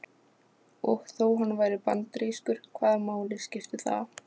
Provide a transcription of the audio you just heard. Og þó hann væri bandarískur, hvaða máli skipti það?